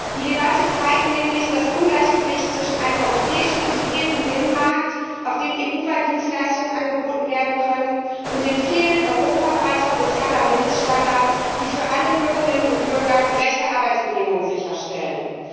Die Debatte zeigt nämlich das Ungleichgewicht zwischen einem europäischen integrierten Binnenmarkt, auf dem EU weit Dienstleistungen angeboten werden können, und dem Fehlen europaweiter sozialer Mindeststandards, die für alle Bürgerinnen und Bürger gerechte Arbeitsbedingungen sicherstellen.